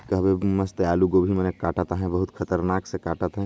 काबर मस्त आलू गोभी मन ल काटा थे बहुत खतरनाक से काटा थे।